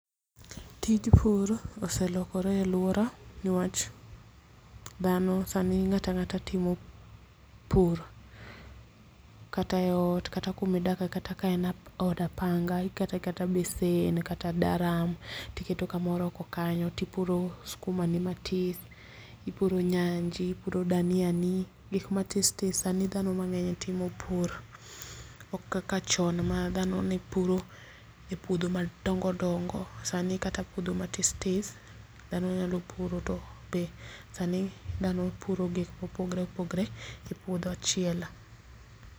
Tij pur oselokore e aluora niwach dhano sani ng'ato ang'ata timo pur kata e ot kata kumidake kata ka en od apanga iketo aketa besen kata daram tiketo kamoro oko kanyo tipuro skuma ni matis, ipuro nyanji ,ipuro dhania di gik ma tis tis. Sani dhano mang'eny timo pur ok kaka chon ma dhano ne puro e puodho ma dongo dongo ,sani kata puodho ma tis tis dhano nyalo puro to be sani dhano puro gik ma opogore opogore e puodho achiel